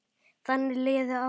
Þannig liðu árin.